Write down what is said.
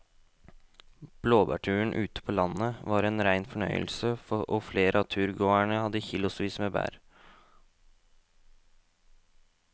Blåbærturen ute på landet var en rein fornøyelse og flere av turgåerene hadde kilosvis med bær.